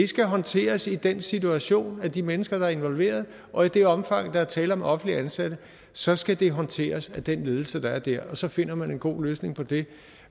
skal håndteres i den situation af de mennesker der er involveret og i det omfang der er tale om offentligt ansatte så skal det håndteres af den ledelse der er der og så finder man en god løsning på det